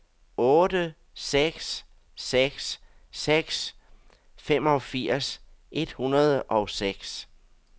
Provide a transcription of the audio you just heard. otte seks seks seks femogfirs et hundrede og seks